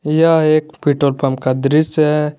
यह एक petrol pump का दृश्य है।